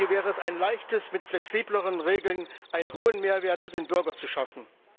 Hier wäre es ein Leichtes, mit flexibleren Regeln einen hohen Mehrwert für den Bürger zu schaffen.